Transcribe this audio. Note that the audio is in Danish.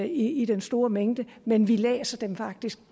i den store mængde men vi læser dem faktisk